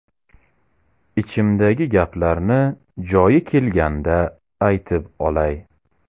Ichimdagi gaplarni joyi kelganda aytib olay.